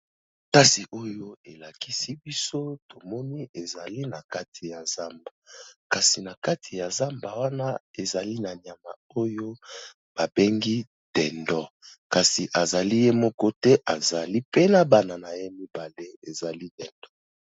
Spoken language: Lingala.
Kasi oyo elakisi biso tomoni ezali na kati ya zamba, kasi na kati ya zamba wana ezali na nyama oyo ba bengi dindon. Kasi azali ye moko te, azali pe na bana na ye mibale ezali dindon.